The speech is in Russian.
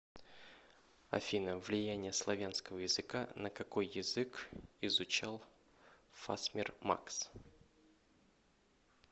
афина влияние славянского языка на какой язык изучал фасмер макс